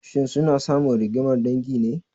Shin suna samun rigimar dangi ne?